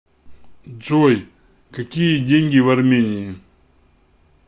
джой какие деньги в армении